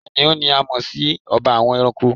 Kìnìún ni a mọ̀ si ọba àwọn ẹranko